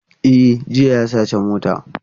E, jiya ya saci mota.